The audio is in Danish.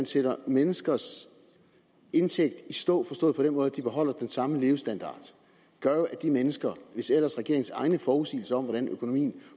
sætte menneskers indtægt i stå forstået på den måde at de beholder den samme levestandard gør jo at de mennesker hvis ellers regeringens egne forudsigelser om hvordan økonomien